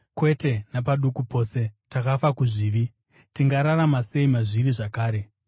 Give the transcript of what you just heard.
Kwete napaduku pose! Takafa kuzvivi; tingararama sei mazviri zvakare?